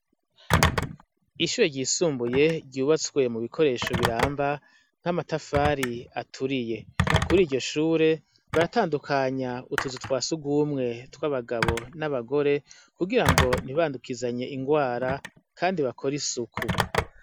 Ishure ryisumbuye ryubatswe mu bikoresho biramba, nk' amatafari aturiye. Kuri iryo shure ,baratandukanya utuzu twa surwumwe tw' abagabo n' abagore , kugira ngo ntibandukizanye ingwara kandi bakore isuku.